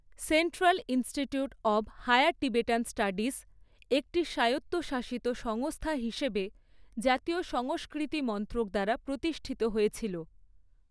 Central Institute of Higher Tibetan Studies একটি স্বায়ত্তশাসিত সংস্থা হিসেবে জাতীয় সংস্কৃতি মন্ত্রক দ্বারা প্রতিষ্ঠিত হয়েছিল।